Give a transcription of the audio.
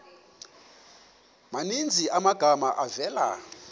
maninzi amagama avela